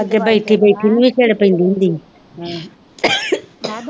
ਅੱਗੇ ਬੈਠੀ ਬੈਠੀ ਛਿੜ ਪੈਂਦੀ ਹੁੰਦੀ ਸੀ ਹਮ ,